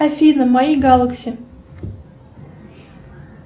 афина мои галакси